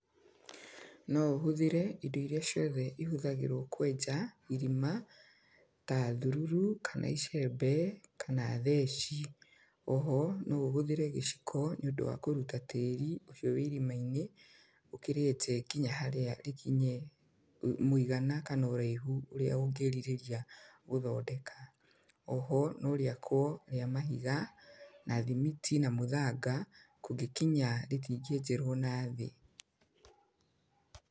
No ũhũthĩre indo irĩa ciothe ihũthagĩrwo kwenja, irima. Ta thururu, kana icembe, kana theci. O ho, no ũhũthĩre gĩciko nĩ ũndũ wa kũruta tĩĩri ũcio wĩ irima-inĩ, ũkĩrĩte nginya harĩa rĩkinye, mũigana kana ũraihu ũrĩa ũngĩrirĩria gũthondeka. O ho no rĩakwo rĩa mahiga, na thimiti na mũthanga, kũngĩkinya rĩtingĩenjerwo nathĩ.